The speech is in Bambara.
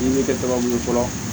Ɲininka kɛ tɔgɔ mun ye fɔlɔ